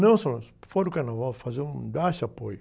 Não só isso, fora o carnaval, fazer um, dar esse apoio.